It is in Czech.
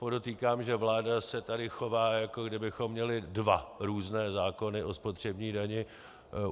Podotýkám, že vláda se tu chová, jako kdybychom měli dva různé zákony o spotřební dani.